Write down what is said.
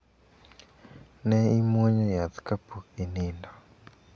Ne imwonyo yath ka pok inindo.